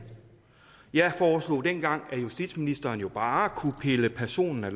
jeg foreslog dengang at justitsministeren jo bare kunne pille personen af